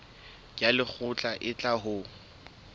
ya lekgotla e tla ho